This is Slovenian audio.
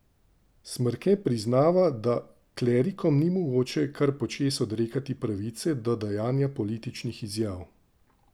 Smrke priznava, da klerikom ni mogoče kar počez odrekati pravice do dajanja političnih izjav.